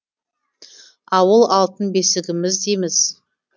ауыл алтын бесігіміз дейміз